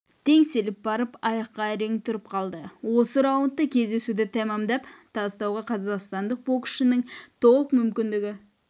теңселіп барып аяқта әрең тұрып қалды осы раундта кездесуді тәмамдап тастауға қазақстандық боксшының толық мүмкіндігі